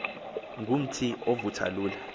ngumthi ovutha lula